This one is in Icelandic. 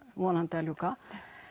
vonandi að ljúka